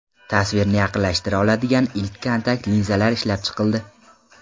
Tasvirni yaqinlashtira oladigan ilk kontakt linzalar ishlab chiqildi.